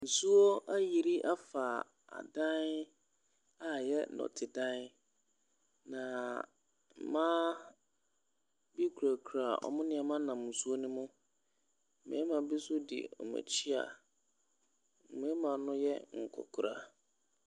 Nsuo ayiri afa dan a ɛyɛ nnɔtedan. Na mmaa bi kurakura wɔn nneɛma nam nsuo no mu. Mmarima bi nso di wɔn akyi a mmarima no yɛ nkwakora.